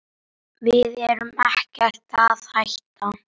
Við erum ekkert að hætta.